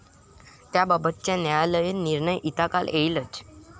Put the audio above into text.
त्याबाबतचा न्यायालयीन निर्णय यथाकाल येईलच.